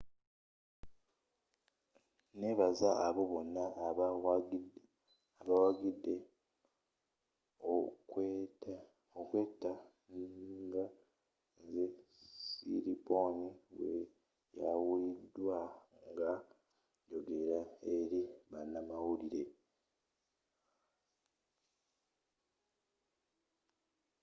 nebaza abo bonna abawagidde omukwaate nga nze siriporn bweyawulidwa ng’a yogela eri banamawulire.